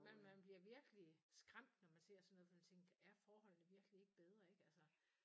Men man bliver virkelig skræmt når man ser sådan noget for man tænker er forholdene ikke bedre ikke altså